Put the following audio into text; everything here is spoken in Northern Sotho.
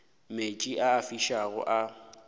meetse a a fišago a